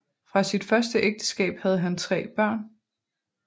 Fra sit første ægteskab havde han tre børn